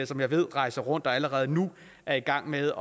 som jeg ved rejser rundt og allerede nu er i gang med